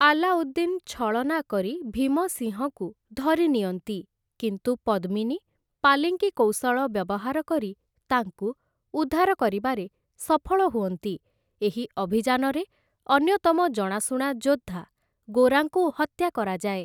ଆଲାଉଦ୍ଦିନ୍ ଛଳନା କରି ଭୀମସିଂହକୁ ଧରିନିଅନ୍ତି, କିନ୍ତୁ ପଦ୍ମିନୀ ପାଲିଙ୍କି କୌଶଳ ବ୍ୟବହାର କରି ତାଙ୍କୁ ଉଦ୍ଧାର କରିବାରେ ସଫଳ ହୁଅନ୍ତି ଏହି ଅଭିଯାନରେ ଅନ୍ୟତମ ଜଣାଶୁଣା ଯୋଦ୍ଧା ଗୋରାଙ୍କୁ ହତ୍ୟା କରାଯାଏ ।